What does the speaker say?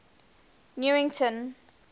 newington